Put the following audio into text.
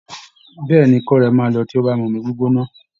Bẹ́ẹ̀ ni, ikọ́ rẹ̀ máa lọ tí ó bá ti mu omí gbígbóná